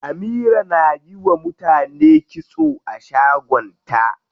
Amira na yiwa mutane kitso a shagon ta.